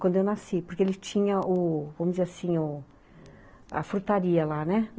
Quando eu nasci, porque ele tinha o, vamos dizer assim, o a frutaria lá, né?